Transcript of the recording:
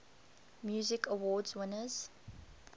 music awards winners